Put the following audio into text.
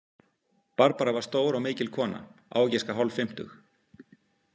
Barbara var stór og mikil kona, á að giska hálffimmtug.